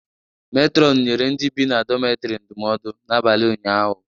Metrọnụ nyere ndị bi na dometrị ndụmọdu n'abalị ụnyaahụ.